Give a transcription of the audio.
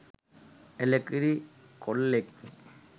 එළකිරි කොල්ලෙක්නේ